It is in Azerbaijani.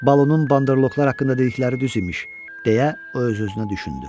Balunun banderloklar haqqında dedikləri düz imiş, deyə o öz-özünə düşündü.